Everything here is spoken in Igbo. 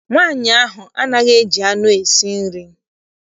Nwaanyị ahụ anaghị eji anụ esi nri.